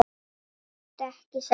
Gráttu ekki, sagði hún.